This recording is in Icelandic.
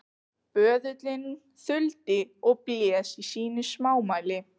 Böðullinn þuldi og blés í sínu smámæli